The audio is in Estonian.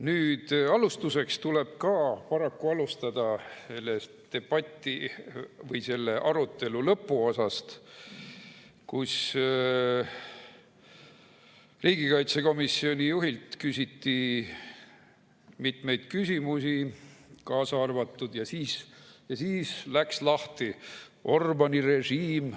Nüüd, paraku tuleb ka alustada selle debati või arutelu lõpuosast, kus riigikaitsekomisjoni juhilt küsiti mitmeid küsimusi, ja siis läks lahti: Orbáni režiim.